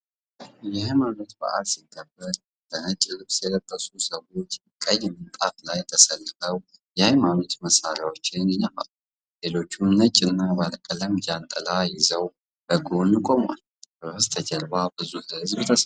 የሃይማኖት በዓል ሲከበር በነጭ ልብስ የለበሱ ሰዎች ቀይ ምንጣፍ ላይ ተሰልፈው የሃይማኖት መሣሪያዎችን ይነፋሉ፤ ሌሎችም ነጭና ባለቀለም ጃንጥላ ይዘው በጎን ቆመዋል። በስተጀርባ ብዙ ሕዝብ ተሰብስቧል።